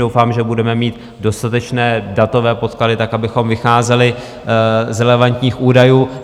Doufám, že budeme mít dostatečné datové podklady tak, abychom vycházeli z relevantních údajů.